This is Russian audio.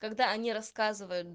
когда они рассказывают